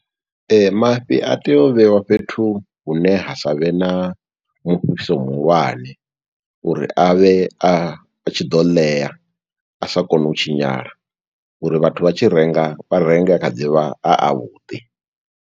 Mafhi a tea u vheiwa fhethu hune ha savhe na, mufhiso muhulwane uri a vhe a tshi ḓo ḽea, a sa kone u tshinyala, uri vhathu vha tshi renga, vha renge a kha ḓi vha, a avhuḓi.